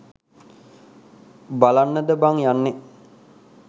බලන්නද බං යන්නෙ?